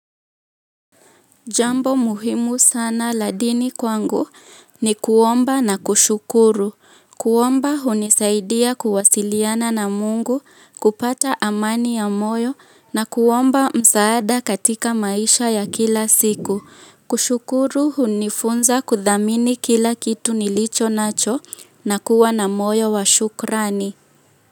Jambo muhimu sana la dini kwangu ni kuomba na kushukuru. Kuomba hunisaidia kuwasiliana na Mungu kupata amani ya moyo na kuomba msaada katika maisha ya kila siku. Kushukuru hunifunza kudhamini kila kitu nilicho nacho na kuwa na moyo wa shukrani.